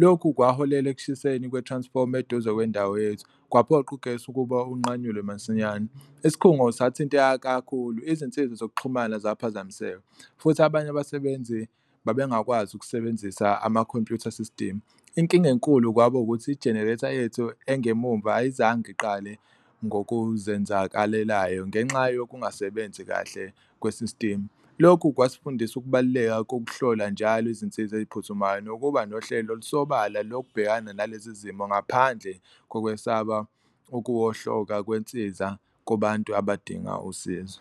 Lokhu kwaholela ekushiseni kwe-transformer eduze kwendawo yethu, kwaphoqa ugesi ukuba unqanyulwe masinyane, isikhungo sathinteka kakhulu izinsiza zokuxhumana zaphazamiseka futhi abanye abasebenzi babengakwazi ukusebenzisa ama-computer system. Inkinga enkulu kwaba ukuthi i-generator yethu engemuva ayizange iqale ngokuzenzakalelayo ngenxa yokungasebenzi kahle kwe-system, lokhu kwasifundisa ukubaluleka kokuhlola njalo izinsiza ey'phuthumayo. Nokuba nohlelo olusobala lokubhekana nalezi zimo ngaphandle kokwesaba ukuwohloka kwensiza kubantu abadinga usizo.